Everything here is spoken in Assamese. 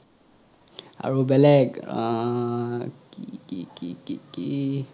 আৰু বেলেগ অহ কি কি কি কি কি